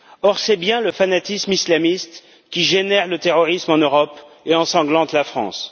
Or c'est bien le fanatisme islamiste qui génère le terrorisme en Europe et ensanglante la France.